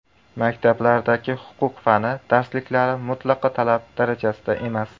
Maktablardagi huquq fani darsliklari mutlaqo talab darajasida emas.